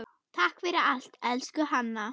Takk fyrir allt, elsku Hanna.